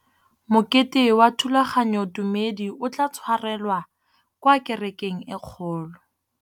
Mokete wa thulaganyôtumêdi o tla tshwarelwa kwa kerekeng e kgolo.